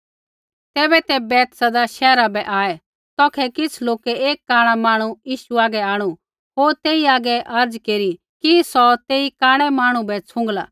तैबै ते बैतसैदा शैहरा बै आऐ तौखै किछ़ लोकै एक कांणा मांहणु यीशु हागै आंणु होर तेई हागै अर्ज़ केरी कि सौ तेई कांणै मांहणु बै छ़ुँगला